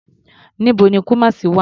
Níbo ni Kumasi wà?